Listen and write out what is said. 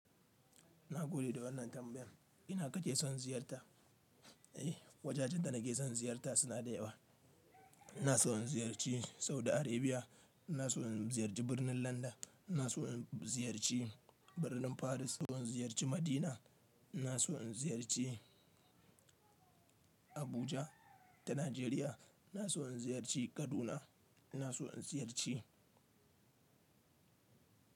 Na gode da wannan tambayar. Ina kake son ziyarta? Eh, wajajen da nake son ziyarta suna da yawa. Ina son in ziyarci Saudi Arabia, ina son in ziyarci birnin London, ina son in ziyarci birnin Paris, ina son in ziyarci Madina, ina son in ziyarci Abuja ta Najeriya, ina son ziyarci Kaduna, ina son ziyarci.